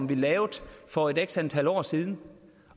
vi lavede for x antal år siden